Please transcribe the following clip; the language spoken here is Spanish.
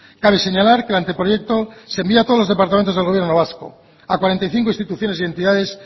cabe señalar que el anteproyecto se envía a todos los departamentos del gobierno vasco a cuarenta y cinco instituciones y entidades